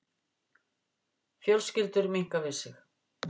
Fjölskyldur minnka við sig